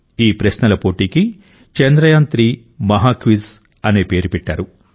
ఈ ప్రశ్నల పోటీకి చంద్రయాన్3 మహాక్విజ్ అని పేరు పెట్టారు